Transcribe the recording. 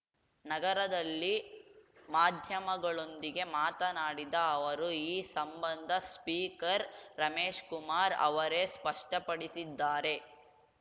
ನಗರದಲ್ಲಿ ಮಾಧ್ಯಮಗಳೊಂದಿಗೆ ಮಾತನಾಡಿದ ಅವರು ಈ ಸಂಬಂಧ ಸ್ಪೀಕರ್‌ ರಮೇಶ್‌ ಕುಮಾರ್‌ ಅವರೇ ಸ್ಪಷ್ಟಪಡಿಸಿದ್ದಾರೆ